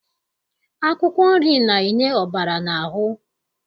Akwụkwọ nri na-enye ọbara n'ahụ